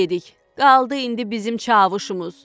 Qaldı indi bizim çavuşumuz.